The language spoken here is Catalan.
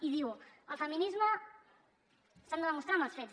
i diu el feminisme s’ha de demostrar amb els fets